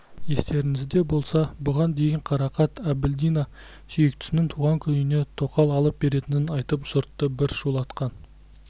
естеріңізде болса бұған дейін қарақат әбілдина сүйіктісінің туған күніне тоқал алып беретінін айтып жұртты бір шулатқан